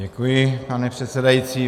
Děkuji, pane předsedající.